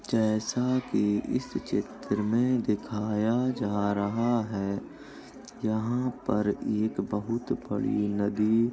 जैसा कि इस चित्र में दिखाया जा रहा है यहाँ पर एक बहुत बड़ी नदी --